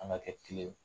An ka kɛ kelen ye